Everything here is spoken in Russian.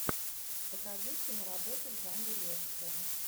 покажи киноработу в жанре лекция